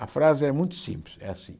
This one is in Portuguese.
A frase é muito simples, é assim.